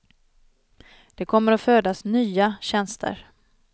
Det kommer att födas nya tjänster.